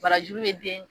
Barajuru ye den